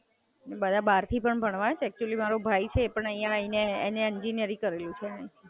MS સારી છે, એનું એડ્યુકેશન લેવલ બઉ અપ છે.